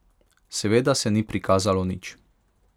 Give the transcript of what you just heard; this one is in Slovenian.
Seveda se ni prikazalo nič.